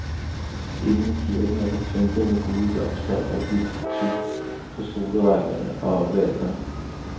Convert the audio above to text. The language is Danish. Inde i kirken er der pyntet med gule blomster og hvidt tyl på stolerækkerne og oppe ved altret.